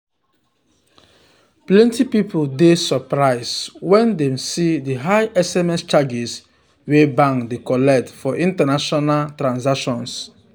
plenty people dey surprised um when dem see the high sms charges wey bank dey collect for international um transactions. um